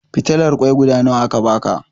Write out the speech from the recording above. Fitilar ƙoi guda nawa aka baka?